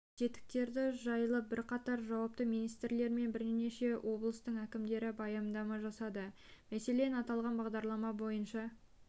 тетіктері жайлы бірқатар жауапты министрлер мен бірнеше облыстың әкімдері баяндама жасады мәселен аталған бағдарлама бойынша